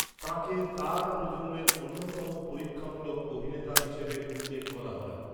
তাঁকে তাঁর প্রজন্মের অন্যতম পরীক্ষামূলক অভিনেতা হিসেবে উল্লেখ করা হয়।